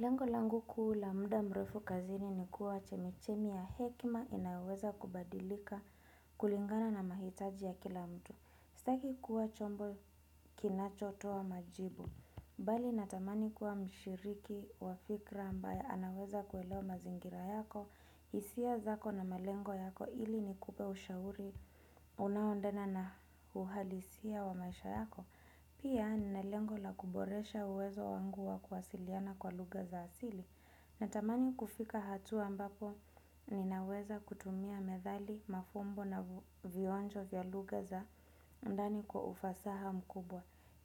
Lengo langu kuu la muda mrefu kazini ni kuwa chemichemi ya hekima inaweza kubadilika kulingana na mahitaji ya kila mtu. Sitaki kuwa chombo kinacho toa majibu. Bali natamani kuwa mshiriki wa fikra ambaye anaweza kuelewa mazingira yako, hisia zako na melengo yako ili nikupe ushauri unaoandana na uhalisia wa maisha yako. Pia ninalengo la kuboresha uwezo wangu wa kuwasiliana kwa lugha za asili natamani kufika hatua ambapo ninaweza kutumia medhali, mafumbo na vionjo vya lugha za ndani kwa ufasaha mkubwa.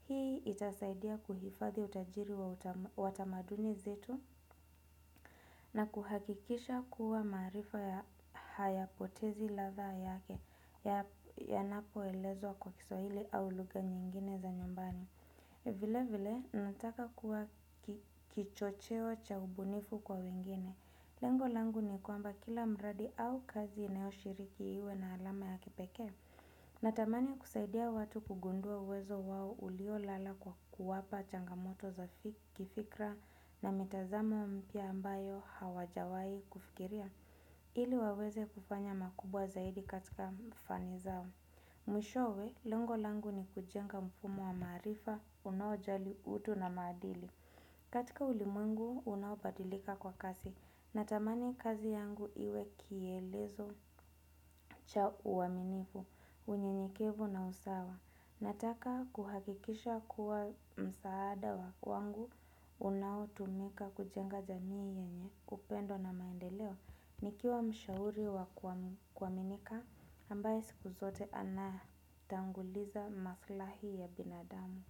Hii itasaidia kuhifadhi utajiri wa watamaduni zetu na kuhakikisha kuwa maarifa ya hayapotezi ladha yake yanapoelezwa kwa kiswahili au lugha nyingine za nyumbani. Vile vile, nataka kuwa kichocheo cha ubunifu kwa wengine. Lengo langu ni kwamba kila mradi au kazi inayo shiriki iwe na alama ya kipekee. Natamani kusaidia watu kugundua uwezo wao ulio lala kwa kuwapa changamoto za kifikra na mitazamo mpya ambayo hawajawai kufikiria. Ili waweze kufanya makubwa zaidi katika mfani zao. Mwishowe, lengo langu ni kujenga mfumo wa maarifa, unaojali utu na maadili. Katika ulimwengu, unaobadilika kwa kasi. Natamani kazi yangu iwe kielezo cha uaminifu, unyenyekevu na usawa. Nataka kuhakikisha kuwa msaada wa kwangu, unaotumika kujenga jamii yenye upendo na maendeleo. Nikiwa mshauri wa kuwaminika ambaye siku zote ana tanguliza maslahi ya binadamu.